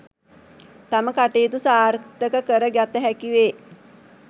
තම කටයුතු සාර්ථක කර ගත හැකි වේ